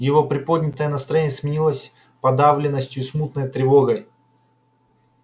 её приподнятое настроение сменилось подавленностью и смутной тревогой